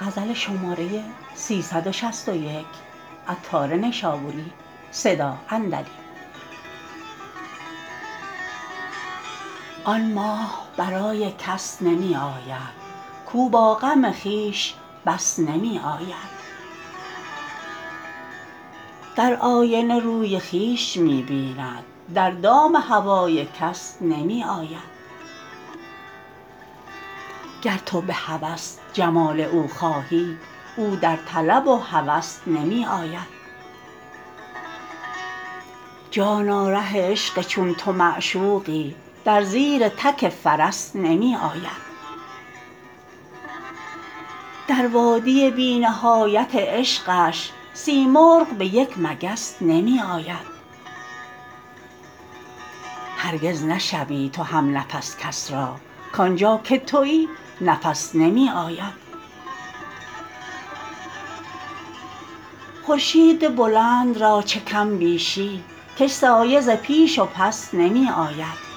آن ماه برای کس نمی آید کو با غم خویش بس نمی آید در آینه روی خویش می بیند در دام هوای کس نمی آید گر تو به هوس جمال او خواهی او در طلب و هوس نمی آید جانا ره عشق چون تو معشوقی در زیر تک فرس نمی آید در وادی بی نهایت عشقش سیمرغ به یک مگس نمی آید هرگز نشوی تو هم نفس کس را کانجا که تویی نفس نمی آید خورشید بلند را چه کم بیشی کش سایه ز پیش و پس نمی آید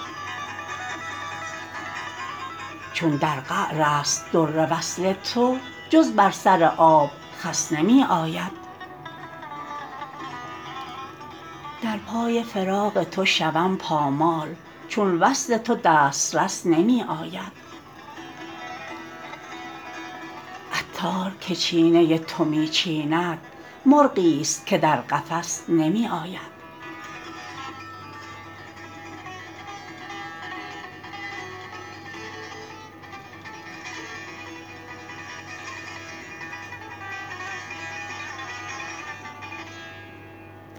چون در قعر است در وصل تو جز بر سر آب خس نمی آید در پای فراق تو شوم پامال چون وصل تو دسترس نمی آید عطار که چینه تو می چیند مرغی است که در قفس نمی آید